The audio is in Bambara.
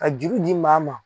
Ka juru di maa ma.